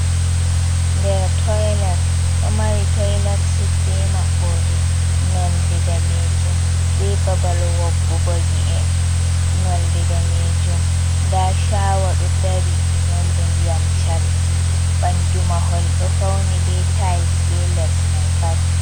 Nder toilet, ɗo mari toilet sid be maɓɓode nolde danejum be babal waggogo nyi'e nolde danejum, nda shawa ɗo dari nolde ndiyam cardi, ɓandu mahol ɗo fauni be tails be les mai pat.